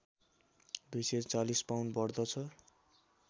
२४० pound बढ्दछ